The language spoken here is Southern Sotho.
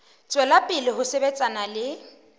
tswela pele ho sebetsana le